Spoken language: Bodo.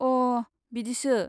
अ' बिदिसो।